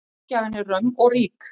Ógæfan er römm og rík.